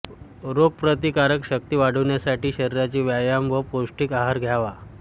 रोगप्रतिकारक शक्ती वाढविण्यासाठी शरीराचे व्यायाम व पौष्टिक आहार घ्यावा